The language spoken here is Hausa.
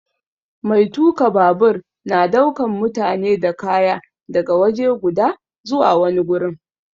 Mai tuka babur na daukan mutane da kaya daga waje guda zuwa wani gurin.